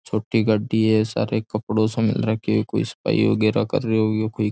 छोटी गाड़ी है सारे एक कपड़ो सो मेल राख्योकोई सफाई वगेरा कर रहियो है कोई।